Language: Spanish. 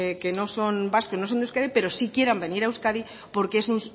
de euskadi pero sí quieran venir a euskadi porque es